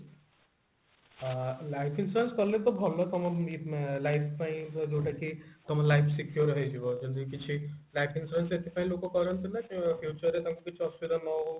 ଆଁ life insurance କଲେ ତ ଭଲ ଇଁ life ପାଇଁ ଯୋଉଟା କି ତମ life secure ହେଇଯିବ ଯେ କିଛି life insurance ଏଥି ପାଇଁ ଲୋକ କରନ୍ତି ନା future ରେ ତାଙ୍କୁ କିଛି ଅସୁବିଧା ନହଉ